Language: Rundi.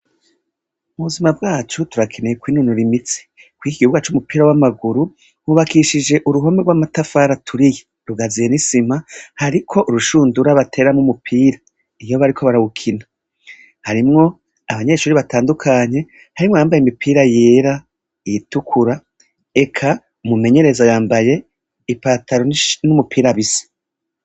Mu buzima bwacu turakeneye kwinonora imitsi, kuriki kibuga c'umupira w'amaguru hubakishije uruhome gw'amatafari aturiye rugazuye n'isima hariko urushundura bateramwo umupira iyo bariko barawukina, harimwo abanyeshuri batandukanye harimwo abambaye imipira yera, iyitukura eka umumenyereza yambaye ipatalo n'umupira bisa.